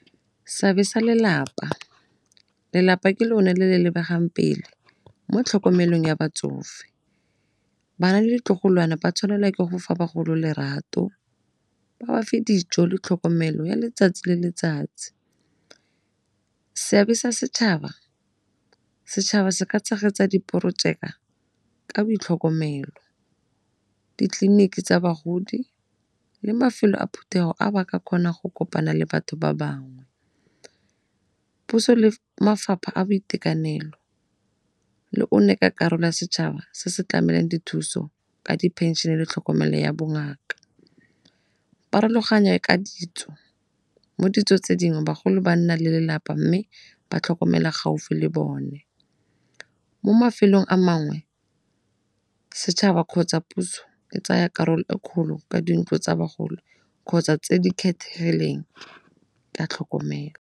Seabe sa lelapa, lelapa ke lone le le lebegang pele mo tlhokomelong ya batsofe. Bana le ditlogolwana ba tshwanelwa ke go fa bagolo lerato, ba ba fe dijo le tlhokomelo ya letsatsi le letsatsi. Seabe sa setšhaba, setšhaba se ka tshegetsa diporojeka ka boitlhokomelo. Ditleliniki tsa bagodi le mafelo a phuthego a ba ka kgonang go kopana le batho ba bangwe, puso le mafapha a boitekanelo le o ne ka karolo ya setšhaba se se tlamelang dithuso ka di phenšene le tlhokomelo ya bongaka. Pharologanyo e ka ditso, mo ditsong tse dingwe bagolo ba nna le lelapa mme ba tlhokomela gaufi le bone. Mo mafelong a mangwe setšhaba kgotsa puso e tsaya karolo e kgolo ka dintlo tsa bagolo kgotsa tse di kgethegileng ka tlhokomelo.